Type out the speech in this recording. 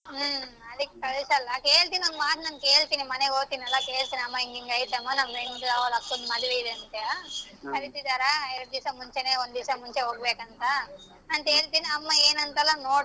ಹ್ಮ್ ಅದಕ್ ಕಳಸಲ್ಲ ಹೇಳ್ತೀನಿ ಒಂದ್ ಮಾತ್ ನಾನ್ ಕೇಳ್ತೀನಿ ಮನೆಗ್ ಹೋಗ್ತೀನಲ್ಲ ಕೇಳ್ತೀನಿ ಅಮ್ಮಾ ಹಿಂಗ್ ಹಿಂಗ್ ಐತ್ ಅಮ್ಮಾ friend ದು ಅವ್ರ ಅಕ್ಕನ ಮದ್ವೆ ಇದೆ ಅಂತೆ ಕರೀತಿದಾರ ಎರ್ಡ್ ದಿವ್ಸ ಮುಂಚೆನೇ ಒಂದ್ ದಿವ್ಸ ಮುಂಚೆ ಹೋಗ್ಬೇಕ್ ಅಂತ ಅಂತ ಹೇಳ್ತಿನಿ ಅಮ್ಮ ಏನಂತಾಳ ನೋಡ್ತೀನಿ.